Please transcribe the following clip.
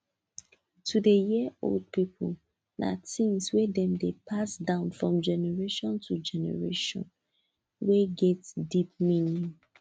to dey hear old people na thing wey dem dey pass down from generation to generation wey get deep meaning